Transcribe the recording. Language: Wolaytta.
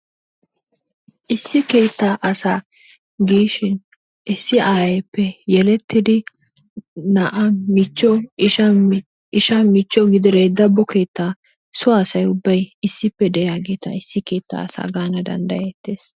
Issi keettaa asaa gishshiin issi ayeeppe yelettidi na'a, michcho, ishsha michcho gidire dabo keettaaso asay ubbay issippe de'iyaageetta issi keettaa asaa gaana dandayeetees.